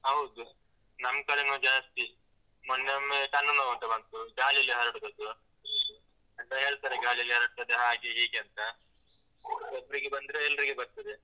ಹೌದು, ನಮ್ಕಡೆನು ಜಾಸ್ತಿ, ಮೊನ್ನೆ ಒಮ್ಮೆ ಕಣ್ಣುನೋವು ಅಂತ ಬಂತು, ಗಾಳಿಯಲ್ಲಿ ಹರಡುದು ಅದು, ಮತ್ತೆ ಹೇಳ್ತಾರೆ ಗಾಳಿಯಲ್ಲಿ ಹರಡ್ತದೆ ಹಾಗೆ ಹೀಗೆ ಅಂತ ಒಬ್ರಿಗೆ ಬಂದ್ರೆ ಎಲ್ರಿಗೆ ಬರ್ತದೆ.